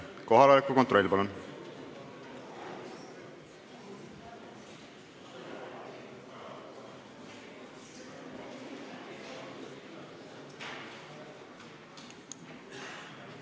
Kohaloleku kontroll, palun!